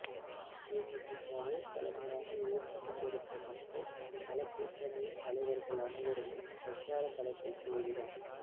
தேமுதிகவை தலைமையாக ஏற்றுக் கொண்டிருக்கும் மக்கள் நலக்கூட்டணியின் தலைவர்கள் அனைவருமே பிரச்சாரக் களத்தில் தீவிரம்